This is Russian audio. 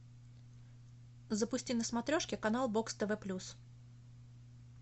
запусти на смотрешке канал бокс тв плюс